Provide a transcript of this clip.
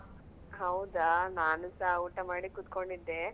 ಹೌದಾ ನಾನುಸ ಊಟ ಮಾಡಿ ಕೂತ್ಕೊಂಡಿದ್ದೆ.